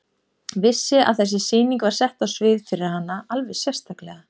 Vissi að þessi sýning var sett á svið fyrir hana alveg sérstaklega.